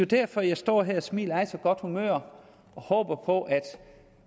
derfor jeg står her og smiler og er i så godt humør og håber på at